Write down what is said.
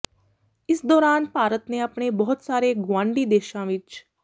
ਇਸ ਦੌਰਾਨ ਭਾਰਤ ਨੇ ਆਪਣੇ ਬਹੁਤ ਸਾਰੇ ਗੁਆਂਢੀ ਦੇਸ਼ਾਂ ਵਿੱਚ